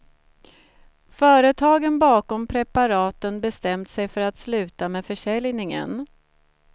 Företagen bakom preparaten bestämt sig för att sluta med försäljningen.